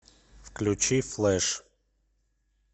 включи флэш